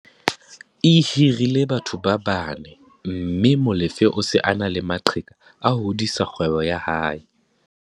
E hirile batho ba bane mme Molefe o se a na le maqheka a ho hodisa kgwebo ya hae.